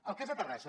el cas de terrassa